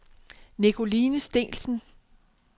Nicoline Steensen